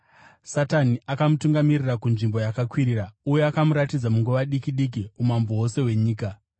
Satani akamutungamirira kunzvimbo yakakwirira uye akamuratidza munguva diki diki umambo hwose hwenyika.